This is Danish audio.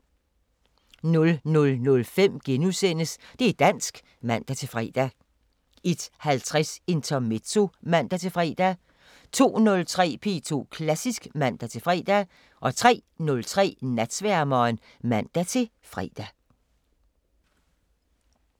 00:05: Det' dansk *(man-fre) 01:50: Intermezzo (man-fre) 02:03: P2 Klassisk (man-fre) 03:03: Natsværmeren (man-fre)